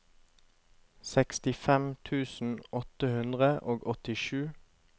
sekstifem tusen åtte hundre og åttisju